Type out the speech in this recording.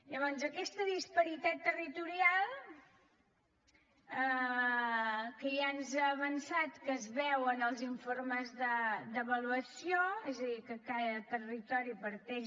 llavors aquesta disparitat territorial que ja ens ha avançat que es veu en els informes d’avaluació és a dir que cada territori parteix